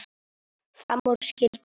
Fram úr skyldi hann.